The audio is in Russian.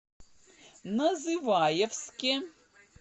называевске